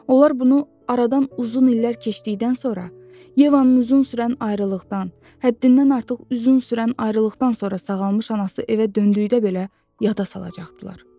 Onlar bunu aradan uzun illər keçdikdən sonra, Yevanın uzun sürən ayrılıqdan, həddindən artıq uzun sürən ayrılıqdan sonra sağalmış anası evə döndükdə belə yada salacaqdılar.